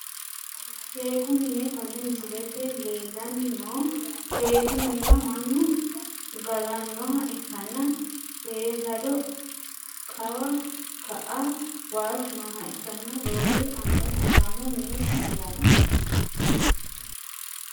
Sheeku mine kone misilete leelani noo sheeku minira manu galanoha ikkana seesado kawa ka`a waalchu nooha ikana roore anga sidaamu mi`ne heerano.